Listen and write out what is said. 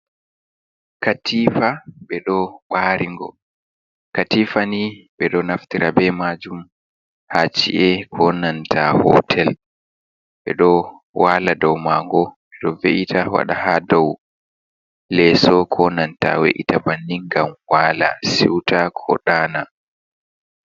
"Katifa" ɓeɗo ɓaringo katifa ni ɓeɗo naftira bei majum ha chi’e konanta hotel ɓeɗo wala du mago ɗo we'ita wada ha dou leso konanta we'ita bannin ngam wala siuta ko ɗana.